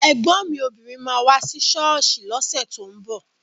Ẹ̀gbọ́n mi obìnrin máa wá sí ṣọ́ọ̀ṣì lọ́sẹ̀ tó ń bọ̀